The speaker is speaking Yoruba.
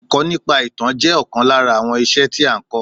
Èkọ́ nípa ìtàn jẹ́ ọ̀kan lára àwọn iṣẹ́ tí a n kọ́.